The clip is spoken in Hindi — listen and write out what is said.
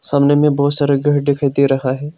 सामने में बहुत सारे घर दिखाई दे रहा है।